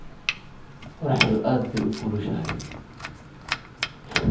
Qorraxdu aad bay u kulushahay.